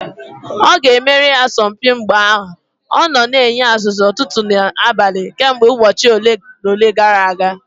Ọ ga-emeri asọmpi mgba ahụ; ọ na-enye ọzụzụ ụtụtụ na abalị kemgbe ụbọchị ole na ole gara aga